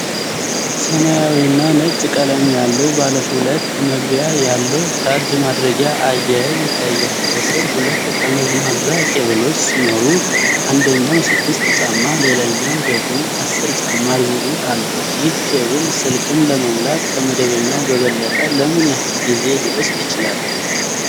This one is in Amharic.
ሰማያዊና ነጭ ቀለም ያለው፣ ባለ ሁለት መግቢያ ያለው ቻርጅ ማድረጊያ አያያዥ ይታያል። ከስር ሁለት ጠመዝማዛ ኬብሎች ሲኖሩ፣ አንደኛው 6 ጫማ ሌላኛው ደግሞ 10 ጫማ ርዝመት አለው። ይህ ኬብል ስልክን ለመሙላት ከመደበኛው በበለጠ ለምን ያህል ጊዜ ሊወስድ ይችላል?